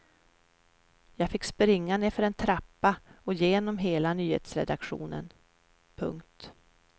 Jag fick springa nedför en trappa och genom hela nyhetsredaktionen. punkt